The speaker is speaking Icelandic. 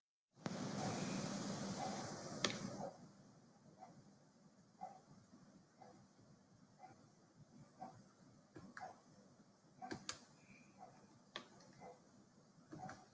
Ég verð að komast burt.